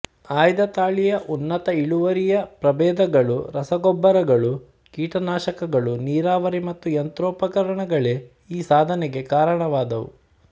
ಆಯ್ದತಳಿಯ ಉನ್ನತ ಇಳುವರಿಯ ಪ್ರಬೇಧಗಳು ರಸಗೊಬ್ಬರಗಳು ಕೀಟನಾಶಕಗಳು ನೀರಾವರಿ ಮತ್ತು ಯಂತ್ರೋಪಕರಣಗಳೇ ಈ ಸಾಧನೆಗೆ ಕಾರಣವಾದವು